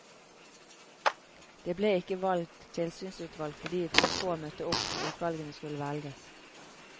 Det ble ikke valgt tilsynsutvalg fordi for få møtte opp når utvalgene skulle velges.